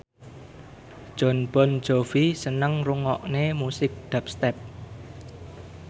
Jon Bon Jovi seneng ngrungokne musik dubstep